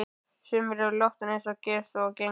Sumir eru látnir eins og gerist og gengur.